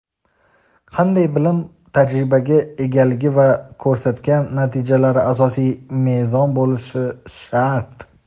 qanday bilim-tajribaga egaligi va ko‘rsatgan natijalari asosiy mezon bo‘lishi shart.